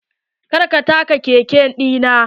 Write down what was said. Kar ka taɓa keke ɗinnan.